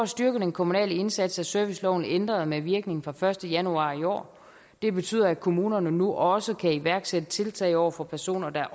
styrke den kommunale indsats er serviceloven ændret med virkning fra den første januar i år det betyder at kommunerne nu også kan iværksætte tiltag over for personer der